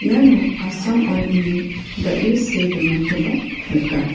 iano assam oil ine dal·e see donakoba nika.